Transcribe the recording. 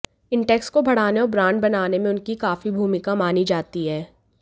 Intex को बढ़ाने और ब्रांड बानाने में उनकी काफी भूमिका मानी जाती है